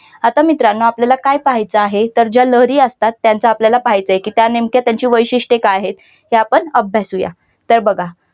आता मित्रांनो आपल्याला काय पाहायच आहे? तर ज्या लहरी असतात त्यांचा आपल्याला पाहायचं की त्या नेमक्या त्यांचे वैशिष्ट्य काय आहे? ते आपण अभ्यासूया. तर बघा.